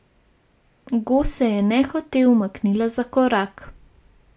Go se je nehote umaknila za korak.